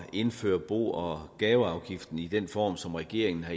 indføre bo og gaveafgiften i den form som regeringen har